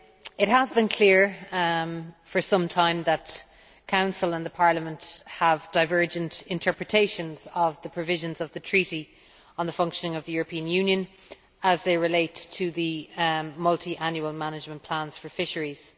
It has been clear for some time that the Council and Parliament have divergent interpretations of the provisions in the Treaty on the Functioning of the European Union as they relate to Multiannual Management Plans for Fisheries.